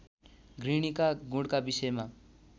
गृहिणीका गुणका विषयमा